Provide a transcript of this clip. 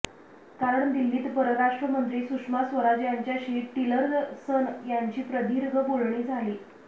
कारण दिल्लीत परराष्ट्रमंत्री सुषमा स्वराज यांच्याशी टिलरसन यांची प्रदीर्घ बोलणी झाली